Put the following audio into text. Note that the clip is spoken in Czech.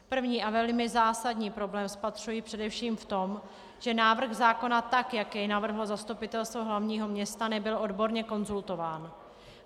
První a velmi zásadní problém spatřuji především v tom, že návrh zákon, tak jak jej navrhlo Zastupitelstvo hlavního města, nebyl odborně konzultován.